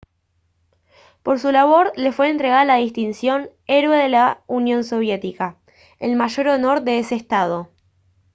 por su labor le fue entregada la distinción «héroe de la unión soviética» el mayor honor de ese estado